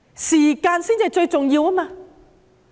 時間才是最重要的。